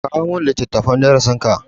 Kawo min littafin darasin ka.